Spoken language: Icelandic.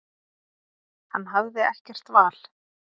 Hann hafði ekkert val.